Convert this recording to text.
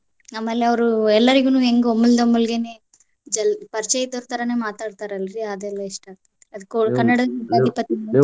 ಆಮೇಲೆ ಅವ್ರ್ ಎಲ್ಲಾರಿಗೂ ಹೆಂಗ್ ಒಮ್ಮಿಂದೊಮಿಲ್ಗೆನ ಜಲ್ ಪರಿಚಯಾ ಇದ್ದೋರ್ ತರಾನ ಮಾತಾಡ್ತರಲ್ರಿ ಅದೆಲ್ಲ ಇಷ್ಟಾ.